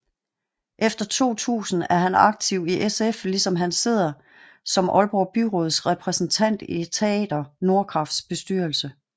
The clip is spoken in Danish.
Efter 2000 er han aktiv i SF ligesom han sidder som Aalborg Byråds repræsentant i Teater Nordkrafts bestyrelse